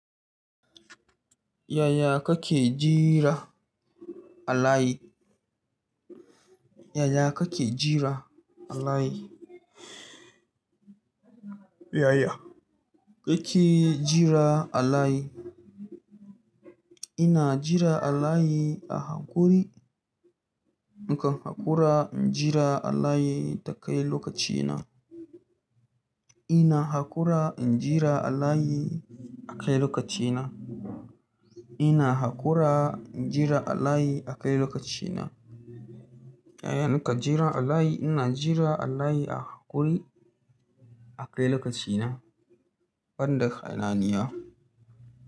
Yaya kake jira alayi? Yaya kake jira alhaki? Yaya kake jira alayi? Ina jira alayi a hakuri. In ka hakura, injira alayi ta kai lokaci na. Ina hakura injira alayi a kai lokaci na. Ina hakura injira alhaki a kai lokaci na. Yaya nake jira alayi? Ina jira alayi a hakuri a kai lokaci na ban da ƙananuwa.